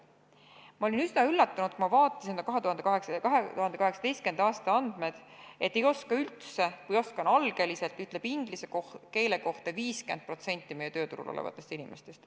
Ma olin üsna üllatunud, kui ma vaatasin, et 2018. aasta andmetel ütleb "ei oska üldse" või "oskan algeliselt" inglise keele kohta 50% meie tööturul olevatest inimestest.